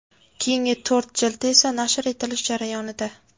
Keyingi to‘rt jildi esa nashr etilish jarayonida.